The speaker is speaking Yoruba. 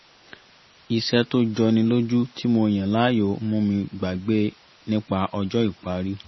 iṣẹ́ tó jọni lójú ti mo yàn láàyò ń mú mi gbàgbé nípa ọjọ́ ìparí